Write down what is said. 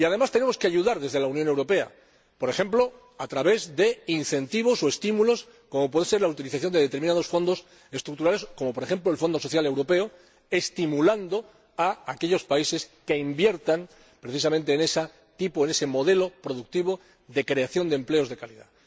Y, además, tenemos que ayudar desde la Unión Europea, por ejemplo a través de incentivos o estímulos como puede ser la utilización de determinados Fondos Estructurales —como por ejemplo, el Fondo Social Europeo—, estimulando a aquellos países que inviertan precisamente en ese modelo productivo de creación de empleos de calidad.